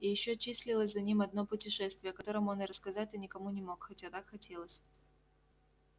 и ещё числилось за ним одно путешествие о котором он и рассказать-то никому не мог хотя так хотелось